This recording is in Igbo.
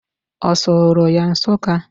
Ọ sụrụ ya Nsuka?